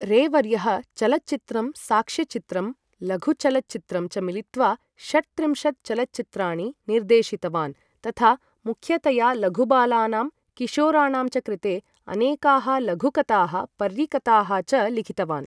रे वर्यः चलच्चित्रं, साक्ष्यचित्रं, लघुचलच्चित्रं च मिलित्वा षट्त्रिंशत् चलच्चित्राणि निर्देशितवान्, तथा मुख्यतया लघुबालानां किशोराणां च कृते अनेकाः लघुकथाः पर्रिकथाः च लिखितवान्।